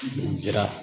N zira